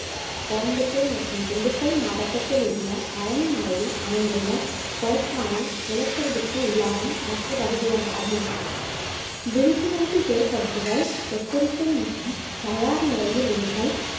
கோயம்புத்தூர் மற்றும் திண்டுக்கல் மாவட்டத்தில் உள்ள பழனி மலையில் அமைந்துள்ள கொடைக்கானல் நிலச்சரிவுக்கு உள்ளாகும் மற்ற பகுதிகளாகும் விழிப்புணர்வு ஏற்படுத்துதல் எச்சரிக்கை மற்றும் தயார் நிலையில் இருத்தல்